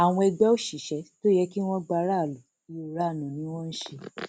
àwọn ẹgbẹ òṣìṣẹ tó yẹ kí wọn gba aráàlú ìranu ni wọn ń ṣe